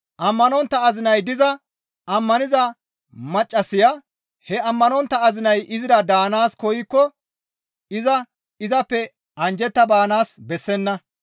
Ammanontta azinay diza ammaniza maccassaya he ammanontta azinay izira daanaas koykko iza izappe anjjetta baanaas bessenna.